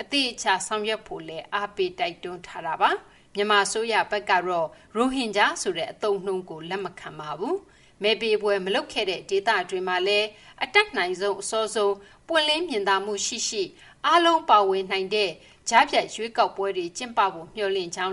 အသေအချာ ဆောင်ရွက်ဖို့ကိုလည်း အားပေး တိုက်တွန်းထားပါတယ်။ မဲပေးပွဲမလုပ်ခဲ့တဲ့ ဒေသတွေမှာလည်း အတတ်နိုင်ဆုံး အစောဆုံး ပွင့်လင်းမြင်သာမှုရှိရှိ အားလုံးပါဝင်နိုင်တဲ့ ကြားဖြတ်ရွေးကောက်ပွဲတွေ ကျင်းပဖို့ မျှော်လင့်ကြောင်းလ